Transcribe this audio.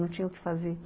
Não tinha o que fazer.